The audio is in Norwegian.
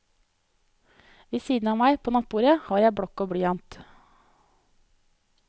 Ved siden av meg, på nattbordet, har jeg blokk og blyant.